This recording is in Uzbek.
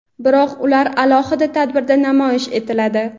biroq ular alohida tadbirda namoyish etiladi.